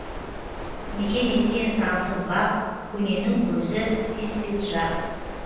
мекен еткен сансыз бап көненің көзі испиджаб